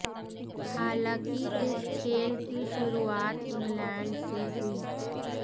हालांकि इस खेल की शुरुआत इंग्लैंड से हुई